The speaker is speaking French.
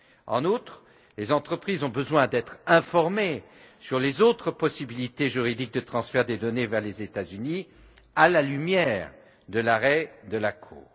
En outre, les entreprises ont besoin d'être informées sur les autres possibilités juridiques de transfert des données vers les États Unis, à la lumière de l'arrêt de la Cour.